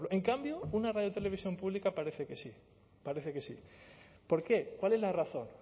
en cambio una radiotelevisión pública parece que sí parece que sí por qué cuál es la razón